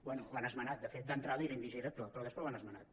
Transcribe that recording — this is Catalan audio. bé l’han esmenat de fet d’entrada era indigerible però després l’han esmenat